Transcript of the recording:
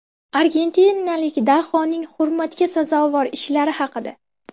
Argentinalik dahoning hurmatga sazovor ishlari haqida.